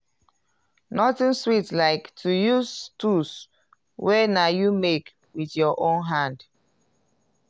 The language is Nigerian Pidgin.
nothing sweat like to use tools wey na you make wit yur own hand